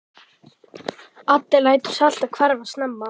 Addi lætur sig alltaf hverfa snemma.